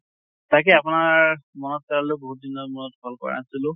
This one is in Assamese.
তাকে আপোনাৰ মনত পেলালো বহুত দিনৰ মুৰত call কৰা নাছিলো